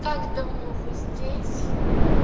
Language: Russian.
как давно вы здесь